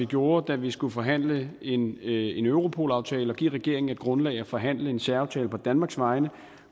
gjorde da vi skulle forhandle en europolaftale og give regeringen et grundlag at forhandle en særaftale på danmarks vegne